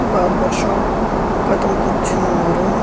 Barber shop ఒకతను కూర్చుని ఉన్నారు.